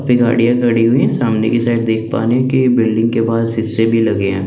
पे गाड़िया खड़ी हुई है सामने की साइड देख पारे है की बिल्डिंग के बार सीसे भी लगे है।